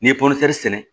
N'i ye sɛnɛ